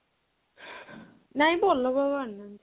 ନାଇଁ ତ ଅଲଗା ଆଉ ଆଣିନାହାନ୍ତି